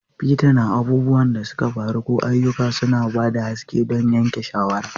Bita na abubuwan da suka faru ko ayyuka, suna ba da haske don yanke shawara.